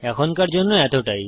এখনকার জন্য এতটাই